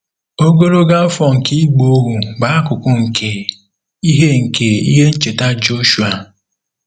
Ogologo afọ nke ịgba ohu bụ akụkụ nke ihe nke ihe ncheta Jọshụa.